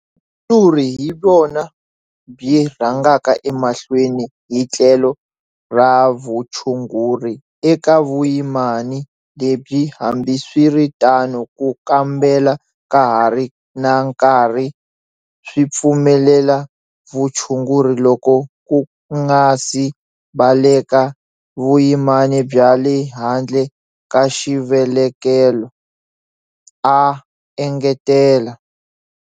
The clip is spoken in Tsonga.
Vuhandzuri hi byona byi rhangaka emahlweni hi tlhelo ra vutshunguri eka vuyimani lebyi hambiswiritano ku kambela ka hari na nkarhi swipfumelela vutshunguri loko ku nga si baleka vuyimani bya le handle ka xivelekelo, a engetela.